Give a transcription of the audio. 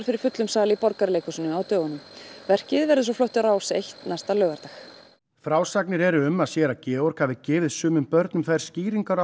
fyrir fullum sal í Borgarleikhúsinu á dögunum verkið verður síðan flutt á Rás eins næsta laugardag frásagnir eru um að séra Georg hafi gefið sumum börnum þær skýringar á